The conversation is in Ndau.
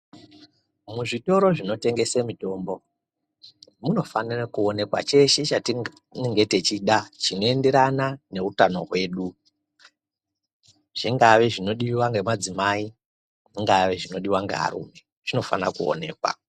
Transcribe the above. Muzvitoro zvinotengese mitombo munofanira kuonekwa cheshe chatinenge tichida chinoenderana neutano hwedu, zvingave zvinodiwa ngemadzimai zvingave zvinodiwa ngearume zvinofanira kuonekwa.